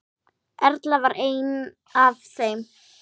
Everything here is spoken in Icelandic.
Erla var ein af þeim.